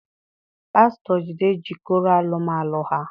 Pastor Jide jikọrọ alụm alụ ha.